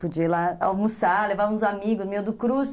Podia ir lá almoçar, levava uns amigos meus do